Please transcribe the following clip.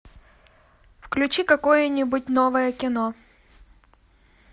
включи какое нибудь новое кино